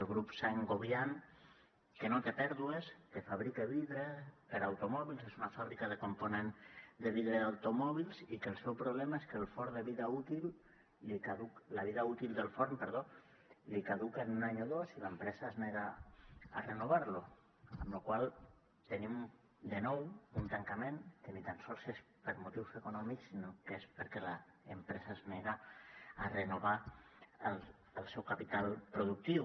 el grup saint gobain que no té pèrdues que fabrica vidres per a automòbils és una fàbrica de components de vidre d’automòbils i que el seu problema és que la vida útil del forn li caduca en un any o dos i l’empresa es nega a renovar lo amb la qual cosa tenim de nou un tancament que ni tan sols és per motius econòmics sinó que és perquè l’empresa es nega a renovar el seu capital productiu